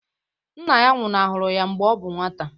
Nna ya nwụnahụrụ ya mgbe ọ bụ nwata